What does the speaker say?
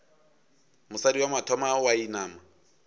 mosadi wa mathomo wa inama